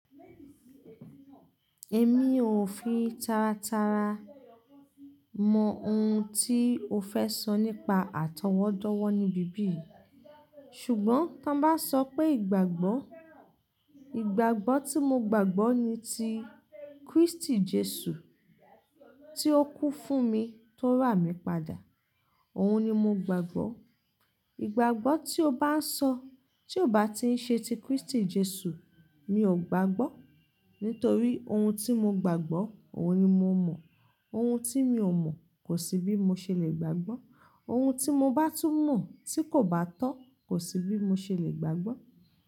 Èmi ò fi taratara mọ ohun tí o fẹ́ sọ nípa àtọwọ́dọ́wọ́ níbí bí yìí. Ṣùgbọ́n tí wọ́n bá sọ pé ìgbàgbọ́, ìgbàgbọ́ tí mo gbàgbọ́ ni ti Kristi Jesu tí ó kú fún mi tó rà mí padà. Òun ni mo gbàgbọ́. Ìgbàgbọ́ tí o bá ń sọ tí ò bá ti ń ṣe ti Kristi Jesu, mi ò gbàgbọ́. Nítorí ohun tí mo gbàgbọ́, òun ni mo mọ̀. Ohun tí mi ò mọ̀ kò sí bí mo ṣe le gbàgbọ́. Ohun tí mo bá tún mọ̀ tí kò bá tọ́ kò sí bí mo ṣe le gbàgbọ́